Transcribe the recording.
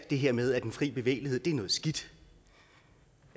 det her med at den fri bevægelighed er noget skidt